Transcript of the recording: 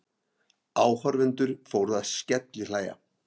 Áhorfendur fóru að skellihlæja.